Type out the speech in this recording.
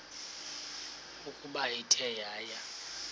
ukuba ithe yaya